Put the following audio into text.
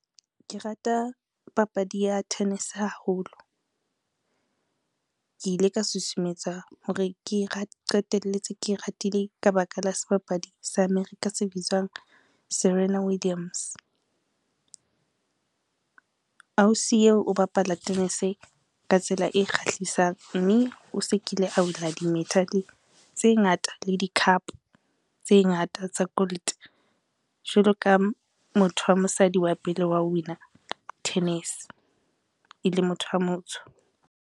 Ke rata papadi ya tennis haholo, ke ile ka susumetsa hore ke qetelletse ke ratile ka baka la sebapadi sa America se bitswang Serena Williams. Ausi yeo o bapala tennis ka tsela e kgahlisang mme o se kile a wina di-medal tse ngata le di-cup tse ngata tsa gold, jwalo ka motho wa mosadi wa pele wao wina tennis e le motho a motsho.